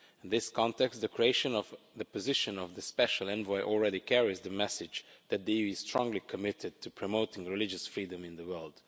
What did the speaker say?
In this context, the creation of the position of the Special Envoy already carries the message that the EU is strongly committed to promoting religious freedom in the world.